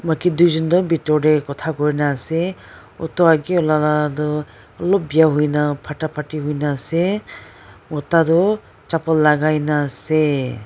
maki tuijon toh bitor tae khota koina ase auto agae la toh olop biya huina pharta pathi huina ase mota toh capal lakai na asee.